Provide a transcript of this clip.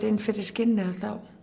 inn fyrir skinnið